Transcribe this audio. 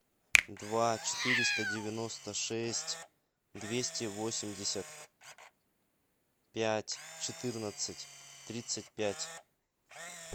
два четыреста девяносто шесть двести восемьдесят пять четырнадцать тридцать пять